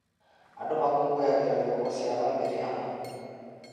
Andũ makũngũyagĩra thigũkũũ cia bamĩrĩ hamwe.